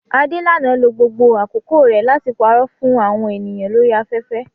Adelana lo gbogbo àkókò rẹ̀ láti parọ́ fún àwọn ènìyàn lórí afẹ́fẹ́